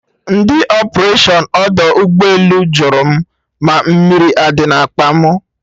Ndị ọpụration ọdọ ụgbọ elu jụrụ mụ ma mmiri adị na akpa mụ?